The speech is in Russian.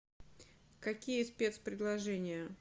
какие спецпредложения